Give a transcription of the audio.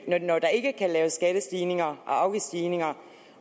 når der ikke kan laves skattestigninger og afgiftsstigninger